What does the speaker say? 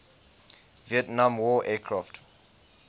vietnam war aircraft